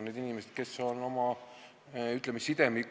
Need inimesed hoiavad oma, ütleme, sideme